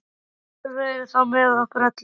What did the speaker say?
Guð veri þá með okkur öllum.